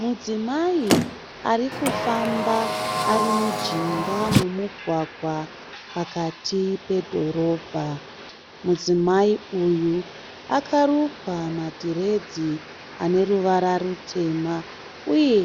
Mudzimai arikufamba arimujinga momugwagwa pakati pedhorobha. Mudzimai uyu akarukwa madhiredzi aneruvara rutema uye